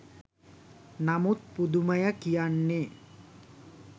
නමුත් පුදුමය කියන්නේ